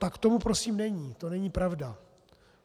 Tak tomu prosím není, to není pravda.